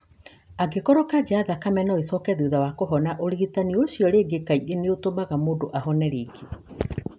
Angĩkorũo kanca ya thakame no ĩcoke thutha wa kũhona, ũrigitani ũcio rĩngĩ kaingĩ nĩ ũtũmaga mũndũ ahone rĩngĩ.